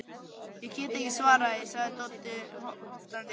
Ég get ekki svarað því, segir Doddi höktandi.